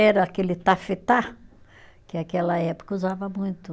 Era aquele tafetá, que aquela época usava muito.